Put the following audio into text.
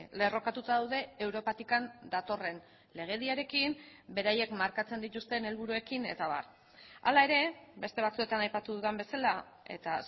lerrokatuta daude europatik datorren legediarekin beraiek markatzen dituzten helburuekin eta abar hala ere beste batzuetan aipatu dudan bezala eta